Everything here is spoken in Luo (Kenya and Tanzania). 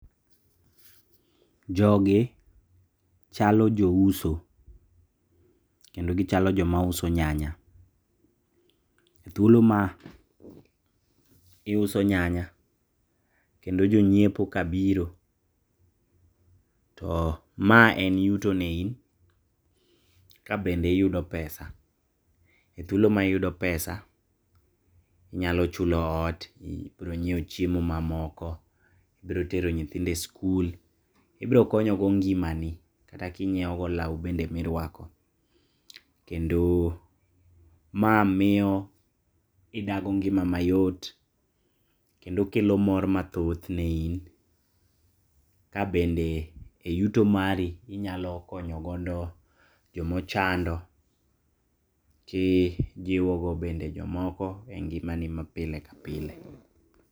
Jogi chalo jouso, kendo gichalo jomauso nyanya. Thuolo maiuso nyanya, kendo jonyiepo kabiro to ma en yuto ne in kabende iyudo pesa. E thuolo maiyudo pesa, inyalo chulo ot, ibiro nyieo chiemo mamoko, ibiro tero nyithindo e skul, ibiro konyogo ngimani kata kinyiego lao bende miruako, kendo ma miyo idag ngima mayot kendo kelo mor mathoth ne in, kabende e yuto mari inyalo konyo godo jomo chando kijiwo godo bende jomoko e ngimani mapile ka pile.